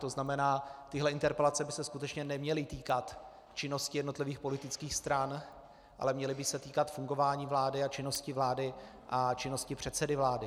To znamená, tyhle interpelace by se skutečně neměly týkat činnosti jednotlivých politických stran, ale měly by se týkat fungování vlády a činnosti vlády a činnosti předsedy vlády.